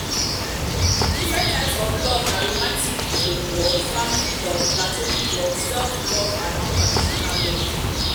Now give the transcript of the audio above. di different types of love na romantic love family love platonic love self-love and unconditional love. unconditional love.